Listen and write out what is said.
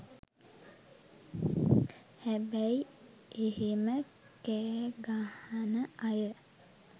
හැබැයි එහෙම කෑගහන අය